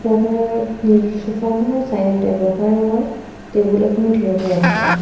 Sofa খনৰ side তে বগা ৰঙৰ টেবুল এখনো থিয় হৈ আছে।